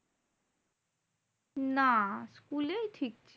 না school এই ঠিক।